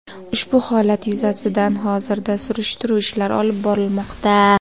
Ushbu holat yuzasidan hozirda surishtiruv ishlari olib borilmoqda.